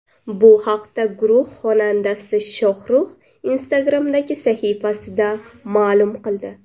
Bu haqda guruh xonandasi Shohrux Instagram’dagi sahifasida ma’lum qildi.